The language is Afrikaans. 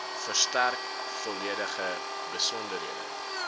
verstrek volledige besonderhede